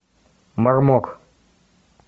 мармок